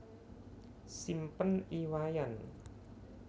Simpen I Wayan